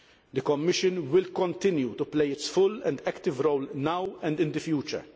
The Commission will continue to play its full and active role now and in the future.